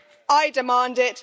I demand it.